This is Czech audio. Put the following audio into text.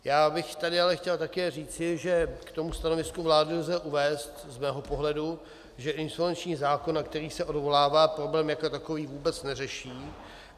Já bych tady ale chtěl také říci, že k tomu stanovisku vlády lze uvést z mého pohledu, že insolvenční zákon, na který se odvolává, problém jako takový vůbec neřeší.